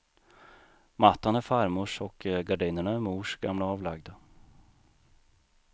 Mattan är farmors och gardinerna är mors gamla avlagda.